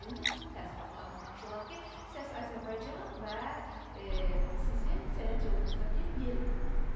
İndi sizin təəssüratlarla tanış olaq ki, Səs Azərbaycan və sizin sənət yolunuzdakı yeri.